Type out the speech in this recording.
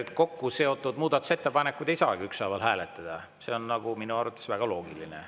Kokkuseotud muudatusettepanekuid ei saagi ükshaaval hääletada, see on minu arvates väga loogiline.